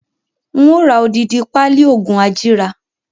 Ń ó ra odidi pali oògùn ajíra